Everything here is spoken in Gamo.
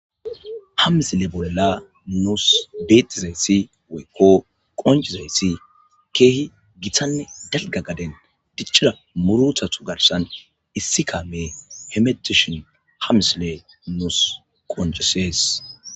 Ha misille bolla nus bettidayssi woykko qonccizayssi kehi gittanne dalgga gadden diccida murruttatu garssan issi kammey hemetishin ha missilley nussi qoncisses